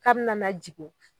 K'a bi nana jigin.